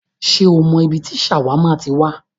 Ṣé o mọ ibi tí ṣàwámà ti wá?